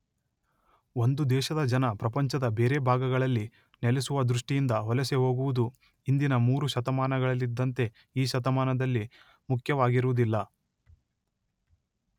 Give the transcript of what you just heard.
ಒಂದು ದೇಶದ ಜನ ಪ್ರಪಂಚದ ಬೇರೆ ಭಾಗಗಳಲ್ಲಿ ನೆಲೆಸುವ ದೃಷ್ಟಿಯಿಂದ ವಲಸೆ ಹೋಗುವುದು ಹಿಂದಿನ ಮೂರು ಶತಮಾನಗಳಲ್ಲಿದ್ದಂತೆ ಈ ಶತಮಾನದಲ್ಲಿ ಮುಖ್ಯವಾಗಿರುವುದಿಲ್ಲ.